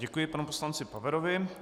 Děkuji panu poslanci Paverovi.